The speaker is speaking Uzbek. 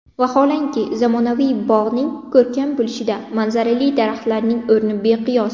Vaholanki, zamonaviy bog‘ning ko‘rkam bo‘lishida manzarali daraxtlarning o‘rni beqiyos.